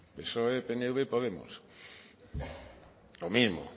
psoe pnv y podemos lo mismo